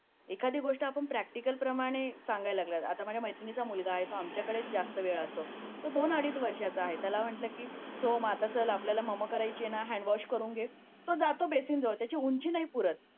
एखादी गोष्ट आपण प्रॅक्टिकलीप्रमाणे सांगायला लागलो आता माझ्या मैत्रिणीचा मुलगा आहे तो आमच्याकडे जास्त वेळ असतो तो दोन अडीच वर्षाचा आहे त्याला म्हटलं की सोहम चल आता आपल्याला मामा करायची आहे ना तर हँडवॉश करून घे तो जातो बेसिंग जवळ त्याची उंची नाही पुरत